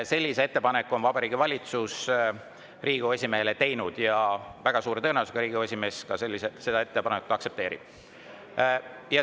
Sellise ettepaneku on Vabariigi Valitsus Riigikogu esimehele teinud ja väga suure tõenäosusega Riigikogu esimees seda ettepanekut aktsepteerib.